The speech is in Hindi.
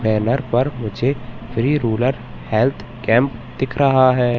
बैनर पर मुझे फ्री रुरल हेल्थ कैंप दिख रहा है।